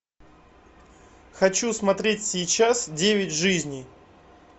хочу смотреть сейчас девять жизней